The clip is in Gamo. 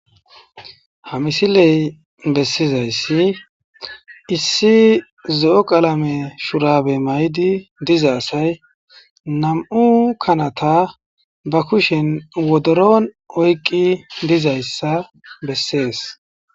Ha misiley bessizayssi issi zo'o qalame shurabe maydi diza asay nam'u kanata ba kushen wodoron oykqi dizayssa bessees.